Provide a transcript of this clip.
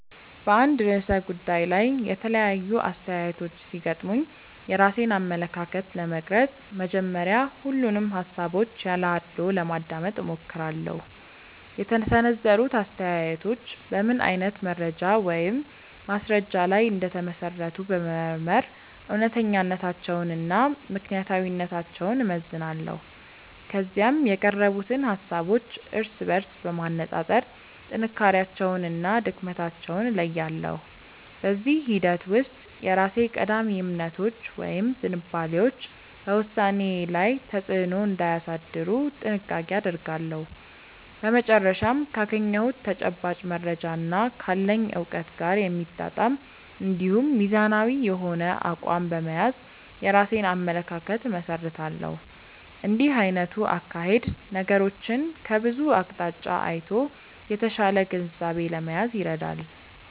በአንድ ርዕሰ ጉዳይ ላይ የተለያዩ አስተያየቶች ሲገጥሙኝ የራሴን አመለካከት ለመቅረጽ መጀመሪያ ሁሉንም ሃሳቦች ያለ አድልዎ ለማዳመጥ እሞክራለሁ። የተሰነዘሩት አስተያየቶች በምን አይነት መረጃ ወይም ማስረጃ ላይ እንደተመሰረቱ በመመርመር እውነተኛነታቸውንና ምክንያታዊነታቸውን እመዝናለሁ። ከዚያም የቀረቡትን ሃሳቦች እርስ በርስ በማነጻጸር ጥንካሬያቸውንና ድክመታቸውን እለያለሁ። በዚህ ሂደት ውስጥ የራሴ ቀዳሚ እምነቶች ወይም ዝንባሌዎች በውሳኔዬ ላይ ተጽዕኖ እንዳያሳድሩ ጥንቃቄ አደርጋለሁ። በመጨረሻም ካገኘሁት ተጨባጭ መረጃና ካለኝ እውቀት ጋር የሚጣጣም እንዲሁም ሚዛናዊ የሆነ አቋም በመያዝ የራሴን አመለካከት እመሰርታለሁ። እንዲህ አይነቱ አካሄድ ነገሮችን ከብዙ አቅጣጫ አይቶ የተሻለ ግንዛቤ ለመያዝ ይረዳል።